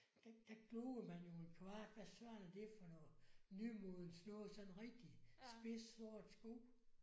Der der gloede man jo en kvart hvad søren er det for noget nymodens noget sådan rigtig spids sort sko